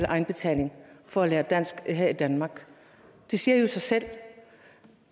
egenbetaling for at lære dansk her i danmark det siger jo sig selv